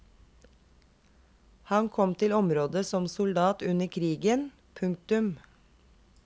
Han kom til området som soldat under krigen. punktum